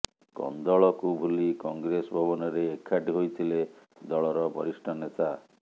କନ୍ଦଳକୁ ଭୁଲି କଂଗ୍ରେସ ଭବନରେ ଏକାଠି ହୋଇଥିଲେ ଦଳର ବରିଷ୍ଠ ନେତା